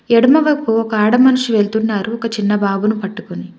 ఎడమ వైపు ఒక ఆడ మనుషులు వెళ్తున్నారు ఒక చిన్న బాబుని పట్టుకొని.